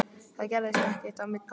Það gerðist ekkert á milli okkar.